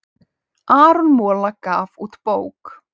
Aron Mola gaf út bók